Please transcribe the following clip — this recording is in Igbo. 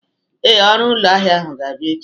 Ee, ọrụ ụlọ ahịa ga-abịa echi.